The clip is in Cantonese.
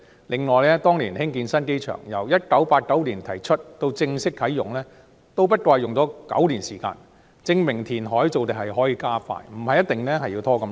另外，當年興建新機場，由1989年提出到正式啟用，只不過用了9年時間，證明填海造地可以加快，不一定要拖這麼久。